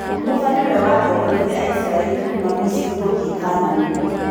Mutha nĩwe watongorie Aisraelri kuuma misiri gũthie kanani.